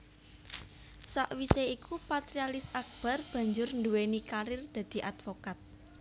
Sakwisé iku Patrialis Akbar banjur nduwéni karir dadi advokat